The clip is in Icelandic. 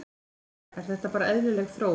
Sunna: Er þetta bara eðlileg þróun?